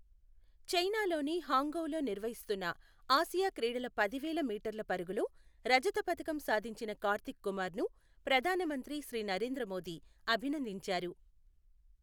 చైనాలోని హాంగ్ఝౌలో నిర్వహిస్తున్న ఆసియా క్రీడల పది వేల మీటర్ల పరుగులో రజత పతకం సాధించిన కార్తీక్ కుమార్ను ప్రధానమంత్రి శ్రీ నరేంద్ర మోదీ అభినందించారు.